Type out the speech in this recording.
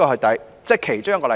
這是其中一個例子。